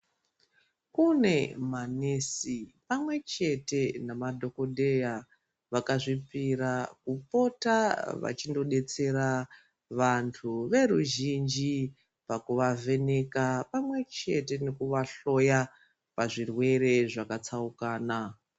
Kune manesi pamwechete namadhokodheya vakazvipira kunodetsera vantu veruzhinji pakuvavheneka pamwechete nekuvahloya pazvirwere zvakatsaukana.